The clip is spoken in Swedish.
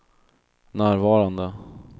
närvarande